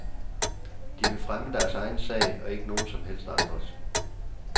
De vil fremme deres egen sag og ikke nogen som helst andres.